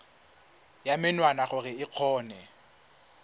ya menwana gore o kgone